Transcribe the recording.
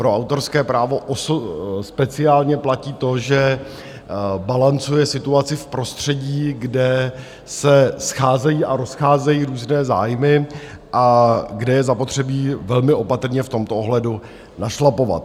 Pro autorské právo speciálně platí to, že balancuje situaci v prostředí, kde se scházejí a rozcházejí různé zájmy a kde je zapotřebí velmi opatrně v tomto ohledu našlapovat.